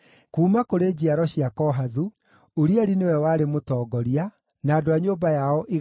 Kuuma kũrĩ njiaro cia Kohathu, Urieli nĩwe warĩ mũtongoria, na andũ a nyũmba yao 120;